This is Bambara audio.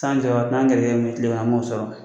t'an jɔ n'an gɛrɛsɛgɛ min ye tilen kɔnɔ an b'o sɔrɔ